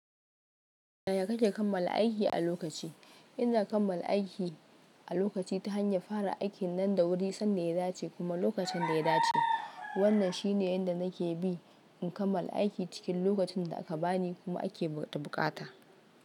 Yaya kake kammala aiki a lokaci? Ina kammala aiki a lokaci ta hanyar fara aikin nan da wuri sanda ya dace kuma lokacin da ya dace. Wannan shine yadda nake bi in kammala aiki cikin lokacin da aka bani kuma ake buƙata.